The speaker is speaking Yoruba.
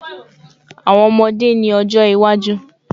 Awọn ọmọde ni ojo iwaju